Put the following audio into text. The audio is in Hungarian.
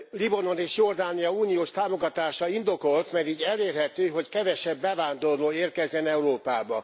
Libanon és Jordánia uniós támogatása indokolt, mert így elérhető, hogy kevesebb bevándorló érkezzen Európába.